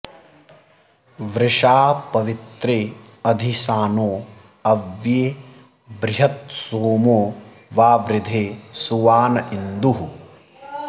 वृषा॑ प॒वित्रे॒ अधि॒ सानो॒ अव्ये॑ बृ॒हथ्सोमो॑ वावृधे सुवा॒न इन्दुः॑